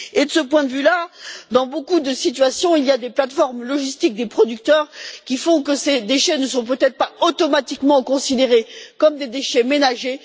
De ce point de vue là, dans beaucoup de situations, il y a des plateformes logistiques des producteurs, qui font que ces déchets ne sont peut être pas automatiquement considérés comme des déchets ménagers.